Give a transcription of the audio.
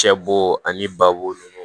Cɛ bo ani babo nunnu